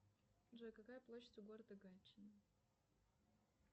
джой какая площадь у города гатчина